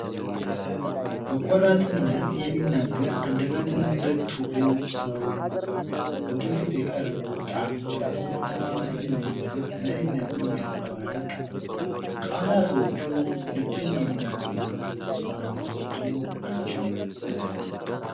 በቆራጥነት የሚናገር አንደበተ ርቱዕ ሰው! ወደ ፊት የቀረበው ጣት በራስ መተማመንንና መሪነትን የሚያንፀባርቅ ነው። ቃላቶች ልብን የሚነኩና ተስፋን የሚሰጡ ናቸው!